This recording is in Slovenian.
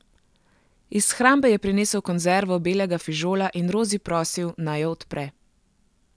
Iz shrambe je prinesel konzervo belega fižola in Rozi prosil, naj jo odpre.